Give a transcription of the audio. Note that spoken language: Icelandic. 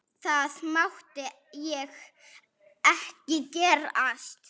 Það mátti ekki gerast.